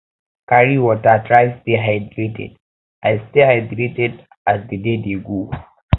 carry water try stay hydrated as stay hydrated as di day dey go